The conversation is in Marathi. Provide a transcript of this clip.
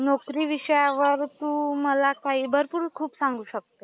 नोकरी विषयावर तू मला काही भरपूर खूप सांगू शकतो.